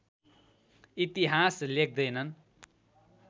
इतिहास लेख्दैनन्